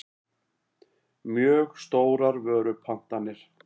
mjög stórar vörupantanir.